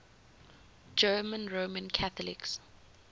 german roman catholics